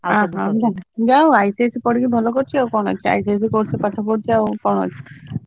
ଯାହା ହଉ ICSE ପଢିକି ଭଲ କରିଛି ଆଉ କଣ ହେଇଛି ସିଏ ICSE ପାଠପଡିଛି ଆଉ କଣ ଅଛି?